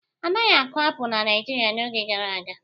Anaghị akụ apụlụ na Naịjirịa n'oge gara aga.